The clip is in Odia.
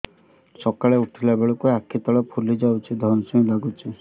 ସକାଳେ ଉଠିଲା ବେଳକୁ ଆଖି ତଳ ଫୁଲି ଯାଉଛି ଧଇଁ ସଇଁ ଲାଗୁଚି